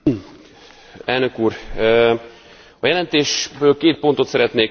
A jelentésből két pontot szeretnék kiemelni, azokhoz szeretnék hozzászólni.